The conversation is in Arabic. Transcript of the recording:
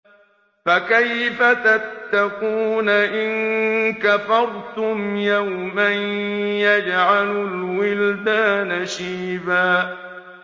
فَكَيْفَ تَتَّقُونَ إِن كَفَرْتُمْ يَوْمًا يَجْعَلُ الْوِلْدَانَ شِيبًا